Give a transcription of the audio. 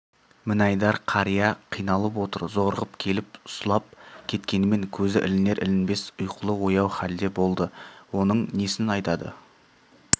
мінайдар қария қиналып отыр зорығып келіп сұлап кеткенмен көзі ілінер-ілінбес ұйқылы-ояу халде болды оның несін айтады